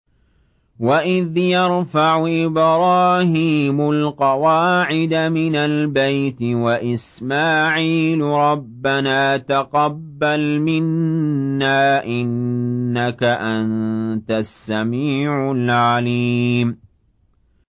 وَإِذْ يَرْفَعُ إِبْرَاهِيمُ الْقَوَاعِدَ مِنَ الْبَيْتِ وَإِسْمَاعِيلُ رَبَّنَا تَقَبَّلْ مِنَّا ۖ إِنَّكَ أَنتَ السَّمِيعُ الْعَلِيمُ